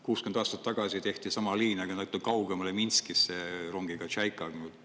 60 aastat tagasi tehti sama liin, aga natuke kaugemale, Minskisse, rongiga Tšaika.